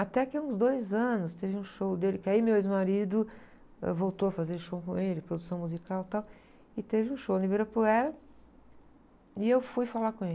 Até que, há uns dois anos, teve um show dele, que aí meu ex-marido, ãh, voltou a fazer show com ele, produção musical e tal, e teve um show no Ibirapuera, e eu fui falar com ele.